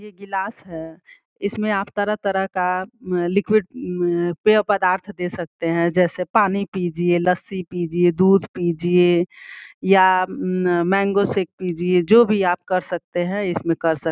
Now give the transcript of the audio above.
ये गिलास है इसमें आप तरह-तरह का एन लिक्विड मम पियो पदार्थ दे सकते हैं जैसे पानी पीजिए लस्सी पीजिए दूध पीजिए या मैंगो शेक पीजिए जो भी आप कर सकते हैं इसमें कर सकते --